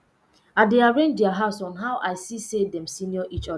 i dey arrange their house on how i see say dem senior each other